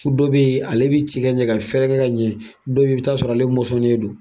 Ko dɔ be yen ale bi tikɛ ɲɛ, ka fɛrɛkɛ ka ɲɛ, dɔ be yen i bi taa sɔrɔ ale mɔsɔlen don.